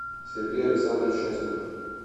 сергей александрович часников